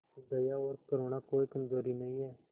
दया और करुणा कोई कमजोरी नहीं है